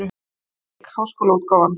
Reykjavík: Háskólaútgáfan.